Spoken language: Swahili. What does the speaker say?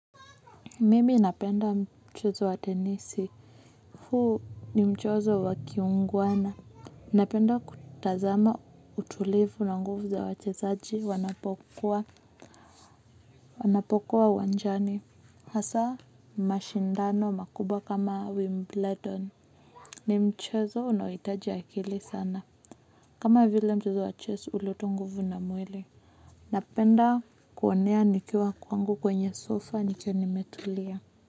Mimi napenda mchezo wa tenisi. Huu ni mchezo wa kiungwana. Napenda kutazama utulivu na nguvu za wachezaji wanapokuwa wanjani. Hasa mashindano makubwa kama Wimbledon. Ni mchezo unaoitaji akili sana. Kama vile mchezo wa chess uleta nguvu na mwili. Napenda kuonea nikiwa kwangu kwenye sofa nikiwa nimetulia.